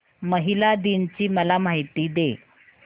महिला दिन ची मला माहिती दे